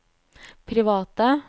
private